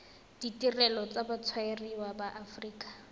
ditirelo tsa batshwariwa ba aforika